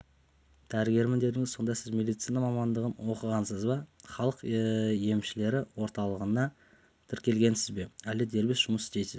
дәрігермін дедіңіз сонда сіз медицина мамандығыноқығансыз ба халық емшілері орталығына тіркелгенсіз бе әлде дербес жұмыс істейсіз